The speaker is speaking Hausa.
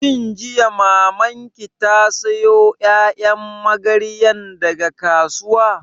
Shin jiya Maman ki ta sayo ƴaƴan magaryan daga kasuwa?